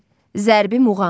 Zərbi muğam.